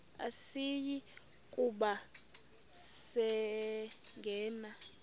asiyi kuba sangena